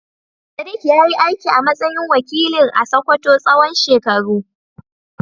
Sadiq ya yi aiki a matsayin wakilin a Sakkwato tsawon shekaru.